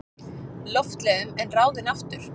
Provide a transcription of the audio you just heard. Loftleiðum en ráðinn aftur.